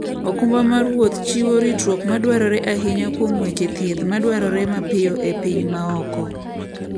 okumba mar wuoth chiwo ritruok madwarore ahinya kuom weche thieth madwarore mapiyo e piny maoko.